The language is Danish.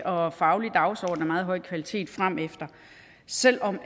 og faglig dagsorden af meget høj kvalitet frem selv om